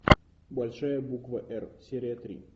большая буква р серия три